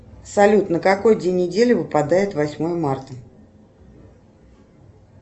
салют на какой день недели выпадает восьмое марта